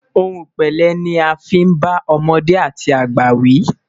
òhun pẹlẹ ní a fin bá ọmọdé àti àgbà wi